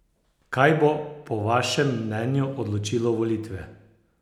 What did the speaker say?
Kaj bo po vašem mnenju odločilo volitve?